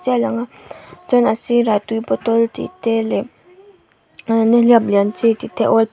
a lang a chuan a sirah tui bottle tih te leh nihliap lian chi tih te --